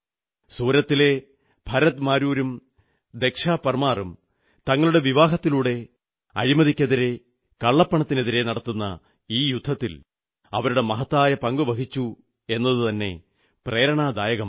സൂറത്തിലെ ഭരത് മാരൂവും ദക്ഷാ പർമാറും തങ്ങളുടെ വിവാഹത്തിലൂടെ അഴിമതിക്കെതിരെ കള്ളപ്പണത്തിനെതിരെ നടക്കുന്ന ഈ യുദ്ധത്തിൽ അവരുടെ മഹത്തായ പങ്കുവഹിച്ചുവെന്നതുതന്നെ പ്രേരണാദായകമാണ്